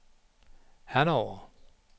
Hannover